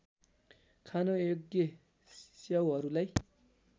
खान योग्य च्याउहरूलाई